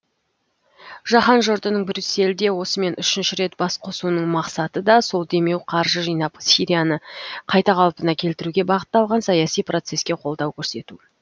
жаһан жұртының брюссельде осымен үшінші рет бас қосуының мақсаты да сол демеу қаржы жинап сирияны қайта қалпына келтіруге бағытталған саяси процесске қолдау көрсету